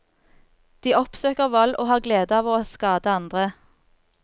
De oppsøker vold, og har glede av å skade andre.